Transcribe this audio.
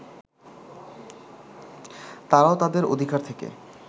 তারাও তাদের অধিকার থেকে